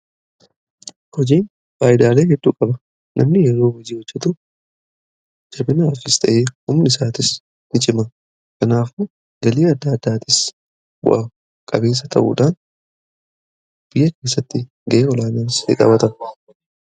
Hojiin faayidaalee hedduu qaba. Namni yeroo hojii hojjetu jabinaa qaamaas ta'ee humni isaatis ni cima kanaaf galii adda addaatis bu'a qabeesa ta'uudhaan biyya keessatti ga'e olaanaas ni qabaata.